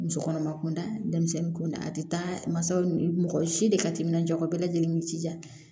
Musokɔnɔma kunda denmisɛnnin kunda a tɛ taa masaw ni mɔgɔ si de ka timinan jɔ bɛɛ lajɛlen ni jija